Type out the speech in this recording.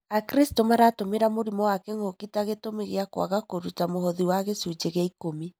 Akristiano maratũmĩra mũrimũ wa kĩng'ũki ta gĩtũmĩ gĩa kwaga kũruta mũhothi wa gĩcunjĩ gĩa ikũmi.